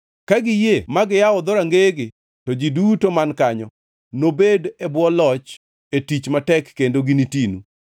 Ka giyie ma giyawo dhorangeyegi, to ji duto man kanyo nobed e bwo loch e tich matek kendo ginitinu.